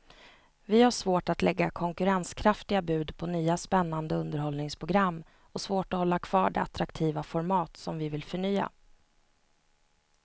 Vi har svårt att lägga konkurrenskraftiga bud på nya spännande underhållningsprogram och svårt att hålla kvar de attraktiva format som vi vill förnya.